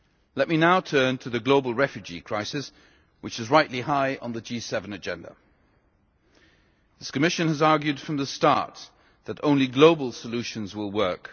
Let me now turn to the global refugee crisis, which is rightly high on the G7 agenda. This Commission has argued from the start that only global solutions will work.